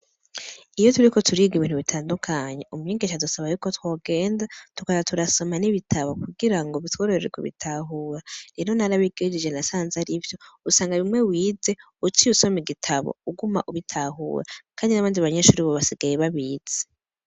Iyo turiko turiga ibintu bitandukanye, umwigisha adusaba yuko twogenda, tukaza turasoma n'ibitabo kugirango bitworohere kubitahura. Rero narabigejeje nasanze arivyo, usanga bimwe wize uciye usoma igitabo uguma ubitahura kandi n'abandi banyeshure ubu basigaye babizi.